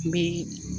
N bɛ